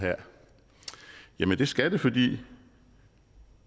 jamen det skal det fordi